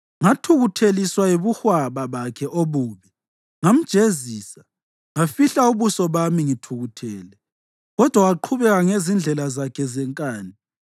Ngathukutheliswa yibuhwaba bakhe obubi; ngamjezisa, ngafihla ubuso bami ngithukuthele, kodwa waqhubeka ngezindlela zakhe zenkani.